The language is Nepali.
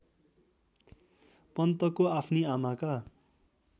पन्तको आफ्नी आमाका